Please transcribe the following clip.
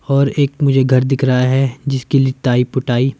और एक मुझे घर दिख रहा है जिसकी लिताई पुटाई--